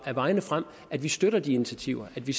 af vejene frem at vi støtter de initiativer og at vi